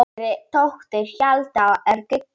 Yngri dóttir Hjalta er Gígja.